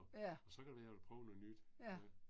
Ja. Ja